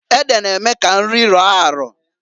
Ede na-eme ka nri rọọ arọọ.